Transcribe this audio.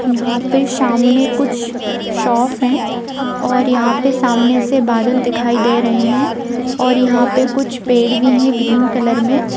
यहां पे सामने कुछ शॉप हैं और यहां पे सामने से बादल दिखाई दे रहे हैं| और यहां पे कुछ पेड़ भी है ग्रीन कलर में |